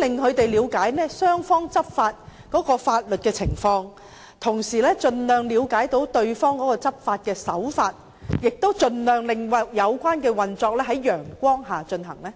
令他們先行了解雙方在執法上的法律情況，以及對方的執法手法，盡量令有關運作能在陽光下進行呢？